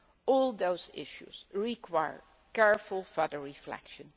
All these issues require careful further reflection.